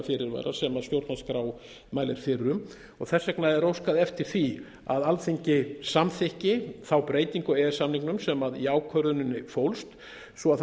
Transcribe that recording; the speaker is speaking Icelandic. sem stjórnvaldsskrá mælir fyrir um þess vegna er óskað eftir því að alþingi samþykki þá breytingu á e e s samningnum sem í ákvörðuninni fólst svo það